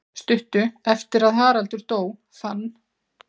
Stuttu eftir að Haraldur dó fann